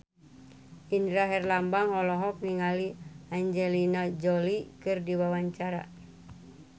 Indra Herlambang olohok ningali Angelina Jolie keur diwawancara